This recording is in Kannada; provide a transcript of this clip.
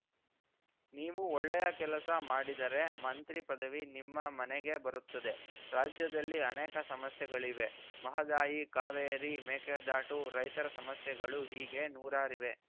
ನೀವು ಒಳ್ಳೆಯ ಕೆಲಸ ಮಾಡಿದರೆ ಮಂತ್ರಿ ಪದವಿ ನಿಮ್ಮ ಮನೇಗೇ ಬರುತ್ತದೆ ರಾಜ್ಯದಲ್ಲಿ ಅನೇಕ ಸಮಸ್ಯೆಗಳಿವೆ ಮಹದಾಯಿ ಕಾವೇರಿ ಮೇಕೆ ದಾಟು ರೈತರ ಸಮಸ್ಯೆಗಳು ಹೀಗೆ ನೂರಾರಿವೆ